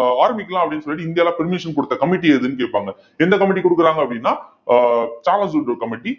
ஆஹ் ஆரம்பிக்கலாம் அப்படின்னு சொல்லிட்டு இந்தியால permission குடுத்த committee எதுன்னு கேட்பாங்க எந்த committee குடுக்குறாங்க அப்படின்னா ஆஹ் சார்லஸ் வுட் committee